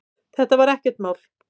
Þetta var ekkert mál.